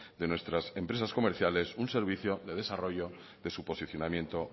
de nuestras empresas comerciales un servicio de desarrollo de su posicionamiento